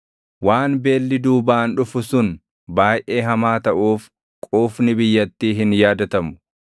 Waan beelli duubaan dhufu sun baayʼee hamaa taʼuuf quufni biyyattii hin yaadatamu.